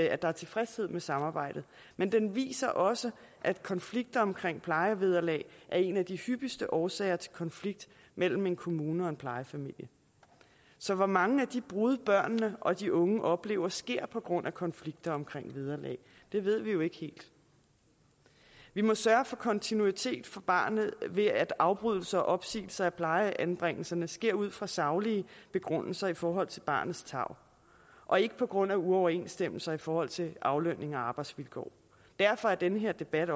at der er tilfredshed med samarbejdet men den viser også at konflikter omkring plejevederlag er en af de hyppigste årsager til konflikt mellem en kommune og en plejefamilie så hvor mange af de brud børnene og de unge oplever der sker på grund af konflikter omkring vederlag ved vi jo ikke helt vi må sørge for kontinuitet for barnet ved at afbrydelser og opsigelser af plejeanbringelserne sker ud fra saglige begrundelser i forhold til barnets tarv og ikke på grund af uoverensstemmelser i forhold til aflønning og arbejdsvilkår derfor er den her debat